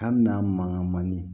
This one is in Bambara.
Hali n'a mangan man di